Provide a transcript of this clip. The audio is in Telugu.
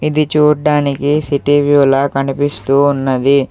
ఇది చూడ్డానికి సిటీ వ్యూ లా కనిపిస్తూ ఉన్నది.